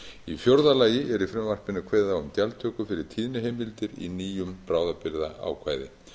í fjórða lagi er í frumvarpinu kveðið á um gjaldtöku fyrir tíðniheimildir í nýju bráðabirgðaákvæði